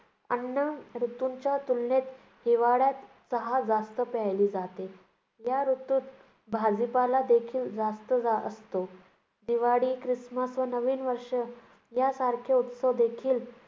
अन्य ऋतूंच्या तुलनेत हिवाळ्यात चहा जास्त प्यायली जाते. या ऋतूत भाजीपालादेखील जास्त जा~ असतो. दिवाळी, ख्रिसमस व नवीन वर्ष या सारखे उत्सव देखील